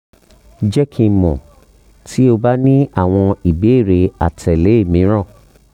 jẹ ki n mọ ti o ba ni awọn ibeere atẹle miiran